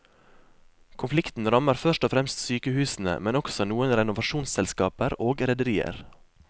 Konflikten rammer først og fremst sykehusene, men også noen renovasjonsselskaper og rederier.